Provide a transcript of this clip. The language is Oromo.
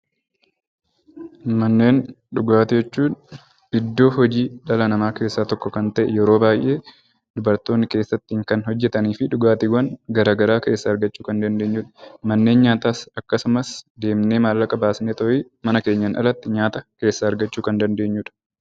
Manneen dhugaatii jechuun iddoo hojii dhala namaa keessaa tokko ta'ee, yeroo baay'ee dubaroonni kan keessatti hojjatanii fi dhugaatiiwwan garaagaraa keessaa argachuu kan dandeenyudha. Manneen nyaataas deemnee maallaqa baasnee argachuu kan dandeenyudha